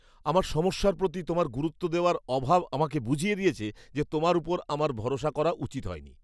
আমার সমস্যার প্রতি তোমার গুরুত্ব দেওয়ার অভাব আমাকে বুঝিয়ে দিয়েছে যে তোমার উপর আমার ভরসা করাই উচিৎ হয়নি।